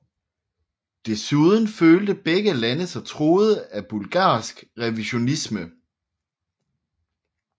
Desuden følte begge lande sig truet af bulgarsk revisionisme